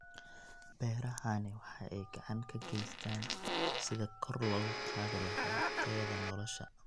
Beerahani waxa ay gacan ka geystaan ??sidii kor loogu qaadi lahaa tayada nolosha.